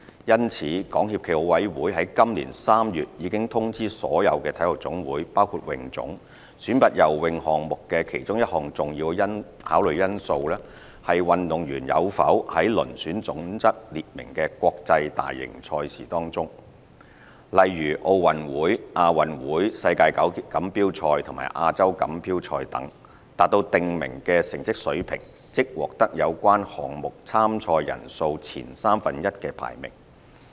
因此，港協暨奧委會在今年3月已通知所有體育總會選拔游泳項目的其中一項重要考慮因素，是運動員有否在遴選準則列明的國際大型賽事中，例如奧運會、亞運會、世錦賽和亞洲錦標賽等，達到訂明的成績水平，即獲得有關項目參賽人數前三分之一的排名。